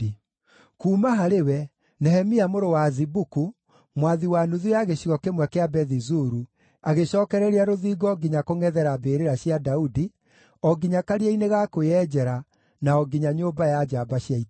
Kuuma harĩ we, Nehemia mũrũ wa Azibuku, mwathi wa nuthu ya gĩcigo kĩmwe kĩa Bethi-Zuru, agĩcookereria rũthingo nginya kũngʼethera mbĩrĩra cia Daudi, o nginya karia-inĩ ga kwĩyenjera, na o nginya Nyũmba ya Njamba cia Ita.